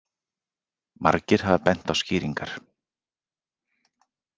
Margir hafa bent á skýringar.